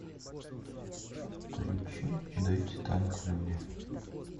включи дайте танк люди